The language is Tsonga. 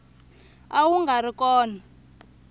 a wu nga ri kona